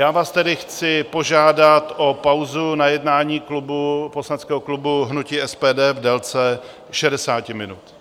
Já vás tedy chci požádat o pauzu na jednání poslaneckého klubu hnutí SPD v délce 60 minut.